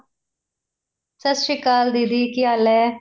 ਸਤਿ ਸ਼੍ਰੀ ਅਕਾਲ ਦੀਦੀ ਕੀ ਹਾਲ ਏ